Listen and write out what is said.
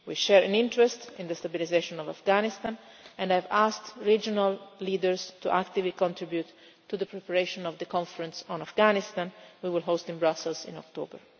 We share an interest in the stabilisation of Afghanistan and have asked regional leaders to actively contribute to the preparation of the conference on Afghanistan which we will host in Brussels in October.